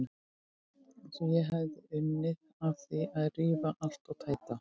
Eins og ég hefði unun af því að rífa allt og tæta.